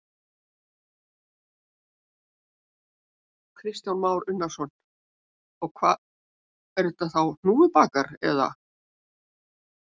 Kristján Már Unnarsson: Og hvað er þetta þá hnúfubakar eða?